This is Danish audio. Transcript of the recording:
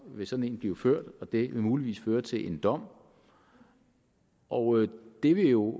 vil sådan en blive ført og det vil muligvis føre til en dom og det vil jo